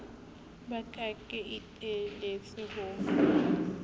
ba ka ke iteletse ho